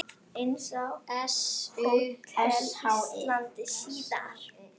Eins á Hótel Íslandi síðar.